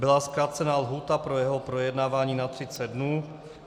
Byla zkrácena lhůta pro jeho projednávání na 30 dnů.